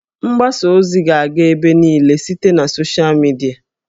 Mgbasa ozi ga-aga ebe niile site na sochịa midia